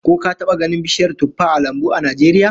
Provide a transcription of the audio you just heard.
Ko ka taba ganin bishiyar tuffah a lambu a Najeriya?